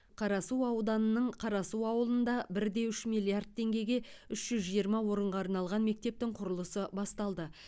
қарасу ауданының қарасу ауылында бір де үш миллиард теңгеге үш жүз жиырма орынға арналған мектептің құрылысы басталды